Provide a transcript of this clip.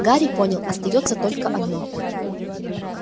гарри понял остаётся только одно